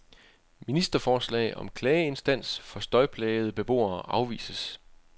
Ministerforslag om klageinstans for støjplagede beboere afvises.